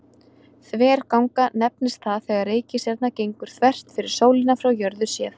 Þverganga nefnist það þegar reikistjarna gengur þvert fyrir sólina frá jörðu séð.